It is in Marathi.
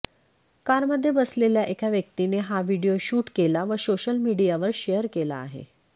कारमध्ये बसलेल्या एका व्यक्तीने हा व्हिडीओ शूट केला व सोशल मीडियावर शेअर केला आहे